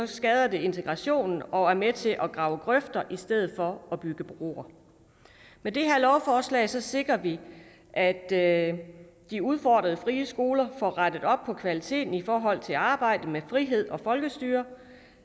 skader det integrationen og er med til at grave grøfter i stedet for bygger broer med det her lovforslag sikrer vi at at de udfordrede frie skoler får rettet op på kvaliteten i forhold til arbejdet med frihed og folkestyre